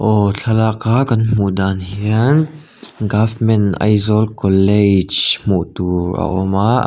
aw thlalaka kan hmu dan hian government Aizawl college hmuh tur a awm a a --